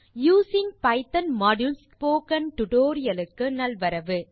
using Python modules spoken tutorial க்கு நல்வரவு